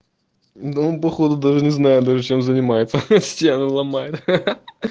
да он походу даже не знаю даже чем занимается стены ломает